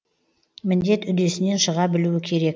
міндет үдесінен шыға білу керек